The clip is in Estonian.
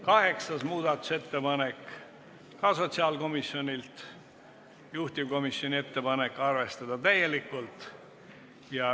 Kaheksas muudatusettepanek on ka sotsiaalkomisjonilt, juhtivkomisjoni ettepanek on arvestada täielikult.